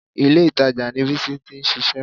Ìlé-ìtajà ni Bísí ti ń ṣiṣẹ́